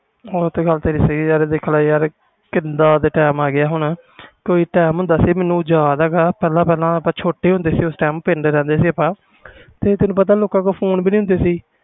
ਉਹ ਤਾ ਤੇਰੀ ਗੱਲ ਸਹੀ ਵ ਦੇਖ ਲੈ ਯਾਰ ਕੀਦਾ ਦੇ time ਆ ਗਏ ਹੁਣ ਕੋਈ time ਹੁੰਦਾ ਸੀ ਮੈਨੂੰ ਯਾਦ ਹੈ ਗਾ ਪਹਿਲੇ ਆਪਾ ਛੋਟੇ ਹੁੰਦੇ ਸੀ ਪਿੰਡ ਰਹਦੇ ਸੀ ਤੇ ਤੈਨੂੰ ਪਤਾ ਲੋਕਾਂ ਤੋਂ ਫੋਨ ਵੀ ਨਹੀਂ ਹੁੰਦੇ ਸੀ